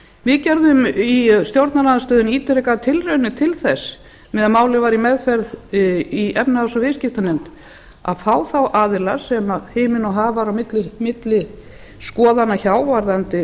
klára jóhönnu í þessu skjali hún er líka í næsta við gerðum í stjórnarandstöðunni ítrekaðar tilraunir til þess meðan málið var í meðferð í efnahags og viðskiptanefnd að fá þá aðila sem himinn og haf var á milli skoðana hjá varðandi